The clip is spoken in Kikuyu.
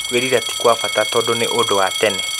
Kwĩrira ti kwa bata tondũ nĩ ũndu wa tene.